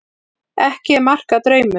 Ekki er mark að draumum.